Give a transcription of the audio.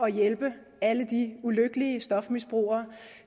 at hjælpe alle de ulykkelige stofmisbrugere